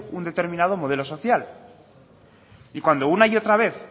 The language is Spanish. un determinado modelo social y cuando una y otra vez